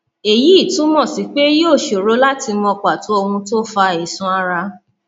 eyí túmọ sí pé yóò ṣòro láti mọ pàtó ohun tó fa àìsàn ara